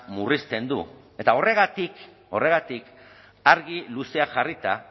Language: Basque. murrizten du eta horregatik horregatik argi luzeak jarrita